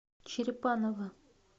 черепаново